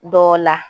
Dɔ la